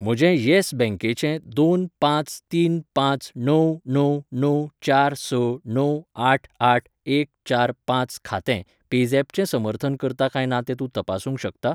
म्हजें यॅस बँकेचें दोन पांच तीन पांच णव णव णव चार स णव आठ आठ एक चार पांच खातें पेझॅपचें समर्थन करता काय ना तें तूं तपासूंक शकता?